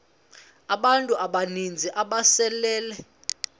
abantu abaninzi ababesele